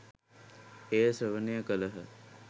එය ශ්‍රවණය කළහ.